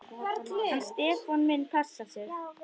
Hann Stefán minn passar sig.